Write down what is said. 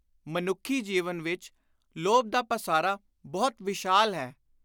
ਮਨੁੱਖੀ ਜੀਵਨ ਵਿਚ ਲੋਭ ਦਾ ਪਾਸਾਰਾ ਬਹੁਤ ਵਿਸ਼ਾਲ ਹੈ।